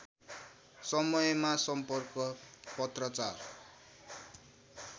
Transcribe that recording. समयमा सम्पर्क पत्राचार